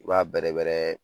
U b'a bɛrɛbɛrɛ